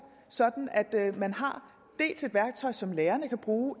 sådan at man har et værktøj som lærerne kan bruge